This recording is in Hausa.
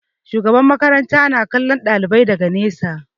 Shugaban makaranta na kallon ɗalibai daga nesa.